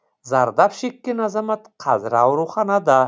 зардап шеккен азамат қазір ауруханада